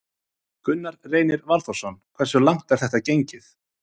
Gunnar Reynir Valþórsson: Hversu langt er þetta gengið?